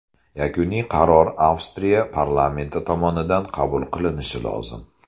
Yakuniy qaror Avstriya parlamenti tomonidan qabul qilinishi lozim.